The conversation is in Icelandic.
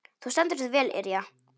Þú stendur þig vel, Irja!